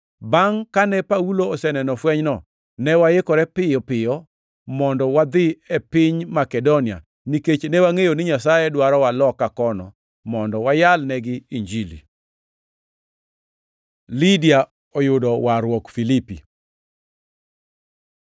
Bangʼ kane Paulo oseneno fwenyno, ne waikore piyo piyo mondo wadhi e piny Makedonia, nikech ne wangʼeyo ni Nyasaye dwarowa loka kono mondo wayalnegi Injili. Lidia oyudo warruok Filipi